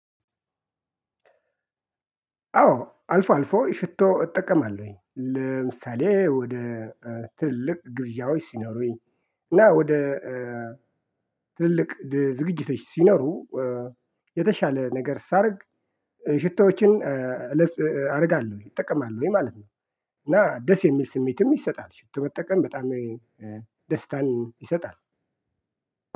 አዎ አልፎ አልፎ ሽቶ እጠቀማለሁኝ ለምሳሌ ወደ ትልቅ ግብዣዎች ስኖሩኝ እና ወደ ትልቅ ዝግጅቶች ሲኖሩ የተሻለ ነገር ሳረግ ሽቶዎችን አረጋለሁ እጠቀማለሁኝ ማለት ነው እና ደስ የሚል ስሜትም ይሰጣል ሽት መጠቀም በጣም ደስታን ይሰጣል።